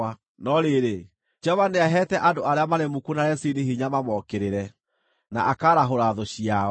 No rĩrĩ, Jehova nĩaheete andũ arĩa marĩ muku na Rezini hinya mamookĩrĩre, na akaarahũra thũ ciao.